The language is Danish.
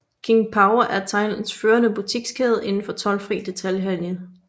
King Power er Thailands førende butikskæde indenfor toldfri detailhandel